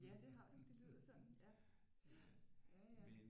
Ja det har du det lyder sådan ja ja ja ja